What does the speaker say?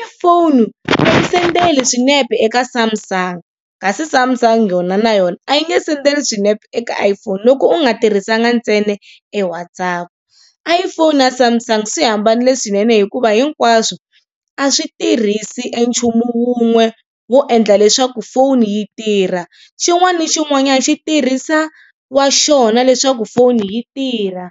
iPhone a yi sendeli swinepe eka Samsung, kasi Samsung yona na yona a yi nge sendeli swinepe eka iPhone loko u nga tirhisanga ntsena e WhatsApp. iPhone na Samsung swi hambanile swinene hikuva hinkwaswo a swi tirhisi e nchumu wun'we wo endla leswaku foni yi tirha. Xin'wana na xin'wanyana xi tirhisa wa xona leswaku foni yi tirha.